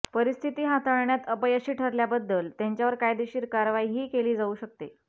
परिस्थिती हाताळण्यात अपयशी ठरल्याबद्दल त्यांच्यावर कायदेशीर कारवाईही केली जाऊ शकते